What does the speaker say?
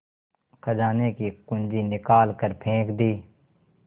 खजाने की कुन्जी निकाल कर फेंक दी